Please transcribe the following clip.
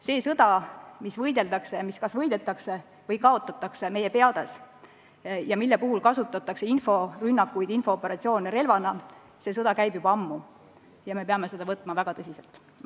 See sõda, mida peetakse ja mis kas võidetakse või kaotatakse meie peades ja mille puhul relvana kasutatakse inforünnakuid ja infooperatsioone – see sõda käib juba ammu ja me peame seda võtma väga tõsiselt.